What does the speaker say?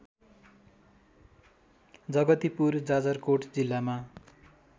जगतिपुर जाजरकोट जिल्लामा